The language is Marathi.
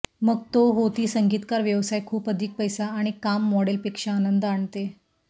मग तो होती संगीतकार व्यवसाय खूप अधिक पैसा आणि काम मॉडेल पेक्षा आनंद आणते